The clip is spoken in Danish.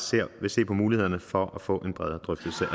vil se på mulighederne for at få en bredere drøftelse af